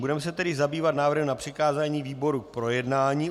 Budeme se tedy zabývat návrhem na přikázání výboru k projednání.